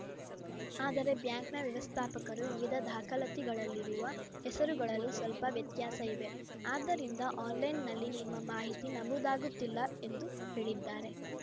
ಆದರೆ ಬ್ಯಾಂಕ್‌ನ ವ್ಯವಸ್ಥಾಪಕರು ವಿವಿಧ ದಾಖಲಾತಿಗಳಲ್ಲಿರುವ ಹೆಸರುಗಳಲ್ಲಿ ಸ್ವಲ್ಪ ವ್ಯತ್ಯಾಸ ಇವೆ ಆದ್ದರಿಂದ ಆನ್‌ಲೈನ್‌ನಲ್ಲಿ ನಿಮ್ಮ ಮಾಹಿತಿ ನಮೂದಾಗುತ್ತಿಲ್ಲ ಎಂದು ಹೇಳಿದ್ದಾರೆ